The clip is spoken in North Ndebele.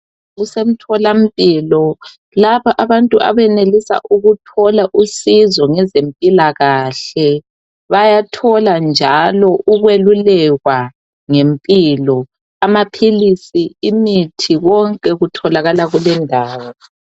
Kusemtholampilo lapha abantu abenelisa ukuthola usizo ngezempilakahle bayathola njalo ukwelulekwa ngempilo. Amaphilisi imithi konke kutholakala kulendawo.